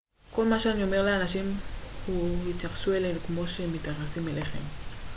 כל מה שאני אומר לאנשים הוא התייחסו אלינו כמו שאנחנו מתייחסים אליכם